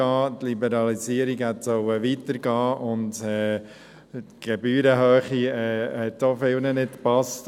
Die Liberalisierung hätte weitergehen sollen, und die Gebührenhöhe hat auch vielen nicht gepasst.